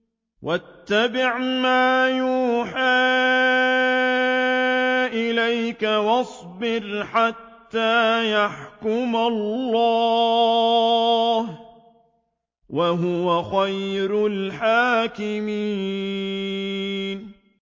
وَاتَّبِعْ مَا يُوحَىٰ إِلَيْكَ وَاصْبِرْ حَتَّىٰ يَحْكُمَ اللَّهُ ۚ وَهُوَ خَيْرُ الْحَاكِمِينَ